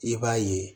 I b'a ye